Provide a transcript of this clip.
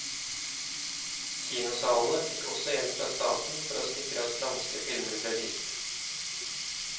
Kinosalene fikk også hjelp fra staten for å sikre at franske filmer ble vist.